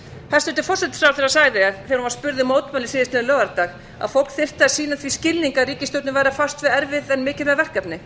hæstvirtur forsætisráðherra sagði þegar hann var spurður mótmæla síðastliðinn laugardag að fólk þyrfti að sýna því skilning að ríkisstjórnin færi að fást við erfið en mikilvæg verkefni